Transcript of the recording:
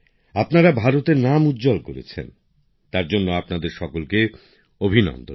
আপনারা ভারতের নাম উজ্জ্বল করেছেন তার জন্য আপনাদের সকলকে অভিনন্দন